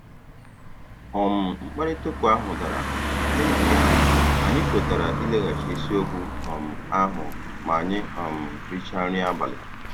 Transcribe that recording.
um Mkparịta ụka ahụ dara, n'ihi ya, anyị kwetara ileghachi isiokwu um ahụ ma anyị um richaa nri abalị.